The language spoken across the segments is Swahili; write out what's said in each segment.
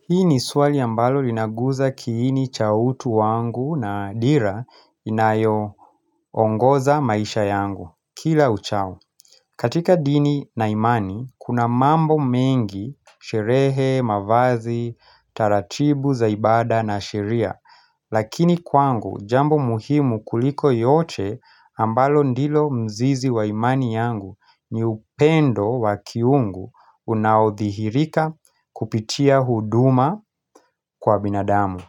Hii ni swali ambalo linaguza kiini cha utu wangu na dira inayoongoza maisha yangu, kila uchao. Katika dini na imani, kuna mambo mengi, sherehee, mavazi, taratibu za ibada na sheria. Lakini kwangu, jambo muhimu kuliko yote ambalo ndilo mzizi wa imani yangu ni upendo wa kiungu unaothihirika kupitia huduma, Kwa binadamu,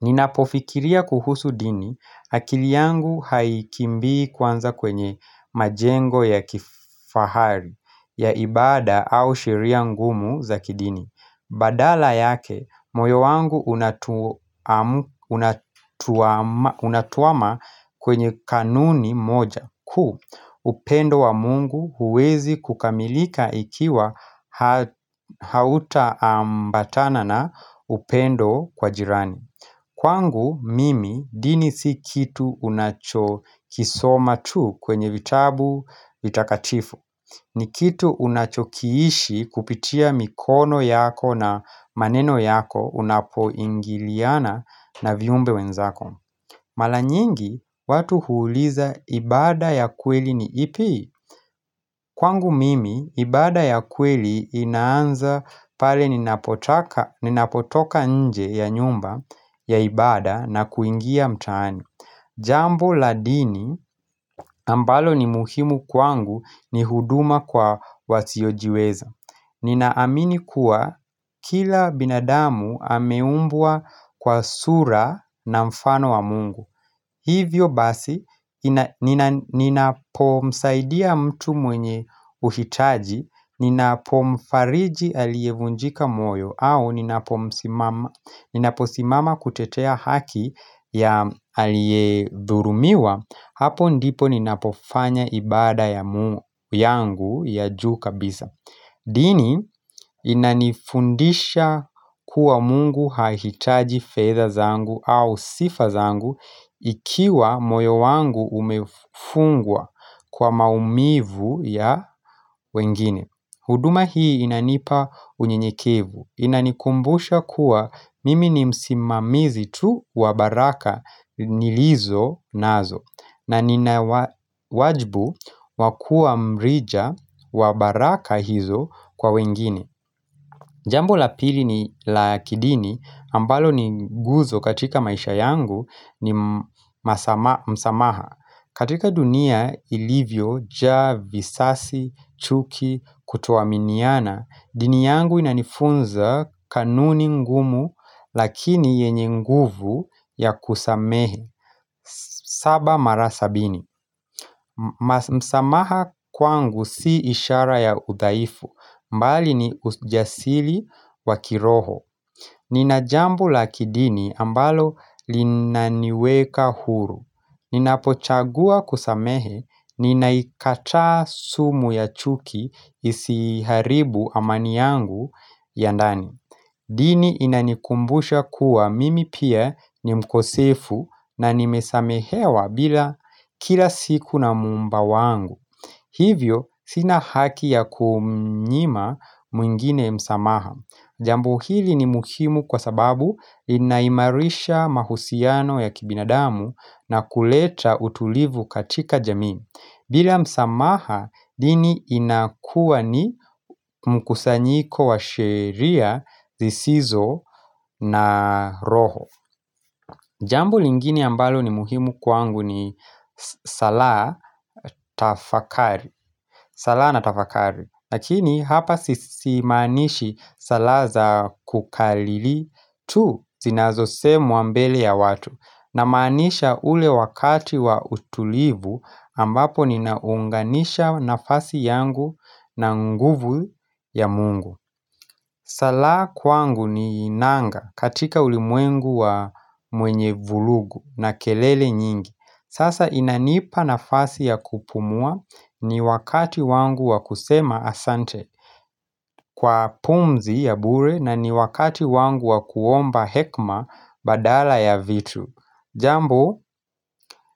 ninapofikiria kuhusu dini akili yangu haikimbii kwanza kwenye majengo ya kifahari ya ibada au sheria ngumu za kidini. Badala yake moyo wangu unatwama kwenye kanuni moja kuu upendo wa mungu huwezi kukamilika ikiwa hautaambatana na upendo kwa jirani Kwangu mimi dini si kitu unacho kisoma tu kwenye vitabu vitakatifu ni kitu unachokiishi kupitia mikono yako na maneno yako unapoingiliana na viumbe wenzako Mara nyingi, watu huuliza ibada ya kweli ni ipi? Kwangu mimi, ibada ya kweli inaanza pale ninapotoka nje ya nyumba ya ibada na kuingia mtaani Jambo la dini ambalo ni muhimu kwangu ni huduma kwa wasiojiweza Nina amini kuwa kila binadamu ameumbwa kwa sura na mfano wa mungu Hivyo basi ninapomsaidia mtu mwenye uhitaji Ninapomfariji alievunjika moyo au ninaposimama kutetea haki ya aliedhurumiwa hapo ndipo ninapofanya ibada ya mungu yangu ya juu kabisa dini inanifundisha kuwa mungu hahitaji fedha zangu au sifa zangu ikiwa moyo wangu umefungwa kwa maumivu ya wengine huduma hii inanipa unyenyekevu. Inanikumbusha kuwa mimi ni msimamizi tu wa baraka nilizo nazo na nina wajbu wa kua mrija wa baraka hizo kwa wengine. Jambo la pili ni la kidini, ambalo ni guzo katika maisha yangu ni msamaha. Katika dunia ilivyo, njaa, visasi, chuki, kutoaminiana, dini yangu inanifunza kanuni ngumu lakini yenye nguvu ya kusamehe. Saba mara sabini, msamaha kwangu si ishara ya uthaifu bali ni ujasiri wa kiroho. Nina jambo la kidini ambalo linaniweka huru. Ninapochagua kusamehe, ninaikataa sumu ya chuki isiharibu amani yangu ya ndani. Dini inanikumbusha kuwa mimi pia ni mkosefu na nimesamehewa bila kila siku na muumba wangu Hivyo sina haki ya kumnyima mwingine msamaha Jambo hili ni muhimu kwa sababu linaimarisha mahusiano ya kibinadamu na kuleta utulivu katika jamii bila msamaha dini inakua ni mkusanyiko wa sheria zisizo na roho Jambo lingini ambalo ni muhimu kwangu ni salaa na tafakari lakini hapa simaanishi salala za kukariri tu zinazosemwa mbele ya watu Namaanisha ule wakati wa utulivu ambapo ninaunganisha nafasi yangu na nguvu ya mungu Salaa kwangu ni nanga katika ulimwengu wa mwenye vurugu na kelele nyingi Sasa inanipa nafasi ya kupumua ni wakati wangu wa kusema asante Kwa pumzi ya bure na ni wakati wangu wa kuomba hekima badala ya vitu Jambo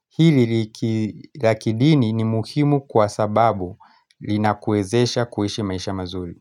hili la kidini ni muhimu kwa sababu linakuwezesha kuishi maisha mazuri.